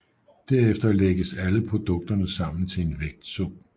Derefter lægges alle produkterne sammen til en vægtsum